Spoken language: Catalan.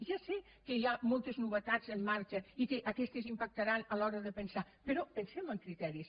ja sé que hi ha moltes novetats en marxa i que aquestes impactaran a l’hora de pensar però pensem en criteris